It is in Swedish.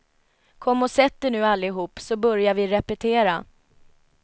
Kom och sätt er nu allihop så börjar vi repetera.